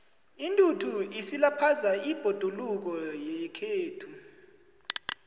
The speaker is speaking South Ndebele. intuthu isilaphaza ibhoduluko yekhethu